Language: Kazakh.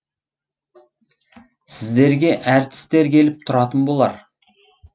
сіздерге әртістер келіп тұратын болар